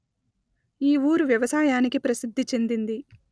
ఈ ఊరు వ్యవసాయానికి ప్రసిద్ధి చెందింది